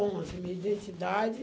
onze. Minha identidade